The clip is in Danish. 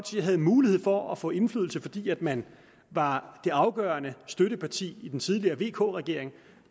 havde mulighed for at få indflydelse fordi man var det afgørende støtteparti i den tidligere vk regering